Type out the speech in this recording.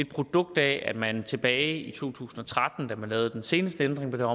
produkt af at man tilbage i to tusind og tretten da man lavede den seneste ændring på det